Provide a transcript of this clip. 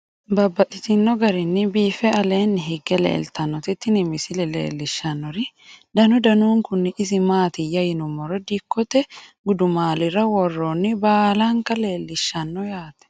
Babaxxittinno garinni biiffe aleenni hige leelittannotti tinni misile lelishshanori danu danunkunni isi maattiya yinummoro dikkotte gudummaallira woroonnire baalanka leelishshanno yaatte